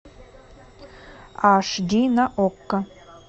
аш ди на окко